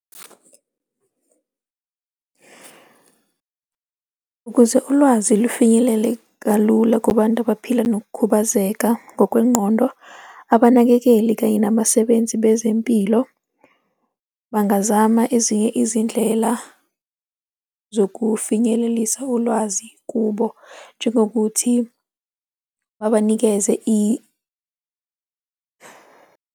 Ukuze ulwazi lufinyelele kalula kubantu abaphila nokukhubazeka ngokwengqondo, abanakekeli kanye nabasebenzi bezempilo bangazama ezinye izindlela zokufinyelelisa ulwazi kubo, njengokuthi babanikeze .